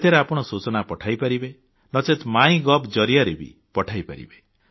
ସେଥିରେ ଆପଣ ସୂଚନା ପଠାଇପାରିବେ ନଚେତ୍ ମାଇଗଭ୍ ଜରିଆରେ ବି ପଠାଇପାରିବେ